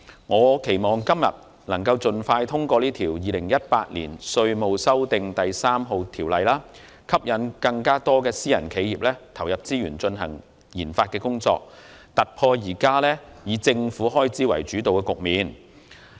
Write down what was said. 我期望今天能盡快通過《2018年稅務條例草案》，吸引更多私人企業投入資源進行研發，突破現時以政府開支主導的局面。